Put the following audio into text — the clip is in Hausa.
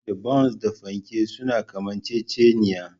Da Bons da fanke suna kamanceceniya